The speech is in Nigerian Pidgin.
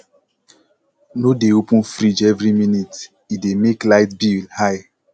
no dey open fridge every minute e dey make light bill high